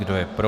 Kdo je pro?